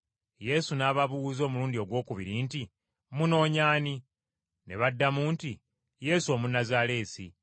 Yesu n’ababuuza omulundi ogwokubiri nti, “Munoonya ani?” Ne baddamu nti, “Yesu Omunnazaaleesi.”